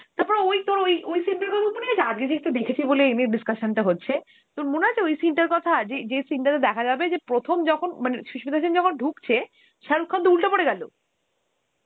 তারপর ওই তোর ওই ওই scene টার কথা মনে আছে? আজকে যেহেতু দেখেছি বলে এই নিয়ে discussion টা হচ্ছে, তোর মনে আছে ওই scene টার কথা যে~ যে scene টাতে দেখা যাবে কি প্রথম যখন মানে সুস্মিতা সেন যখন ঢুকছে, শারুক খানতো উল্টে পরে গেলো,